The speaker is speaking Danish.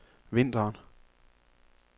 vinteren